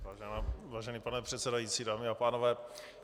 Vážený pane předsedající, dámy a pánové.